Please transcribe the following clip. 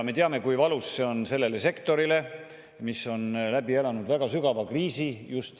Me teame, kui valus see on turismisektorile, mis on seoses koroonaga hiljuti läbi elanud väga sügava kriisi.